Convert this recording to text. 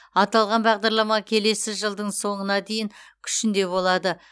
аталған бағдарлама келесі жылдың соңына дейін күшінде болады